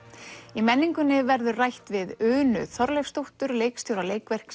í menningunni verður rætt við Unu Þorleifsdóttur leikstjóra